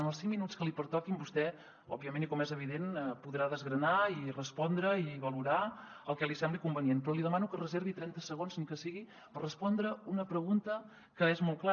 en els cinc minuts que li pertoquin vostè òbviament i com és evident podrà desgranar i respondre i valorar el que li sembli convenient però li demano que es reservi trenta segons ni que sigui per respondre a una pregunta que és molt clara